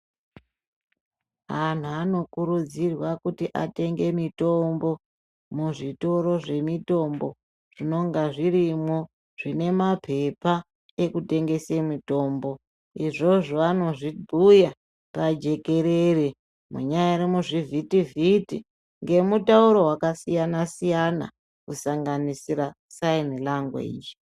Anhu anokurudzirwa kuti atenge mitombo muzvitoro zvemitombo zvinonga zvirimwo zvine mapepa ekutengese mitombo izvozvo anozvibhuya pajekerere munyari muzvivhiti vhiti ngemutaura wakasiyana siyana kusanganisira sign language.